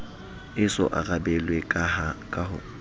e so arabelwe ka ho